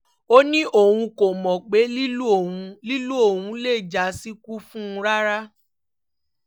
ó ní òun kò mọ̀ pé lílù ọ̀hún lílù ọ̀hún lè já síkú fún un rárá